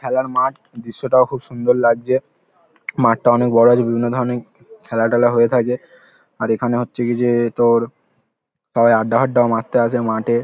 খেলার মাঠ দৃশ্যটাও খুব সুন্দর লাগছে। মাঠটা অনেক বড় আছে। বিভিন্ন ধরণের খেলা টেলা হয়ে থাকে। আর এখানে হচ্ছে কি যে তোর সবাই আড্ডা ফাড্ডা ও মারতে আসে মাঠে।